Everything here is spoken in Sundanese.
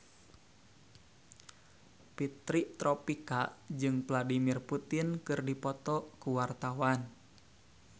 Fitri Tropika jeung Vladimir Putin keur dipoto ku wartawan